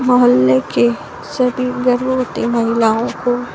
मोहल्ले के सभी गर्भवती महिलाओं को --